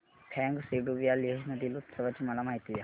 फ्यांग सेडुप या लेह मधील उत्सवाची मला माहिती द्या